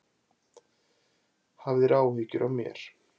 Hafðir áhyggjur af mér.